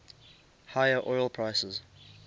higher oil prices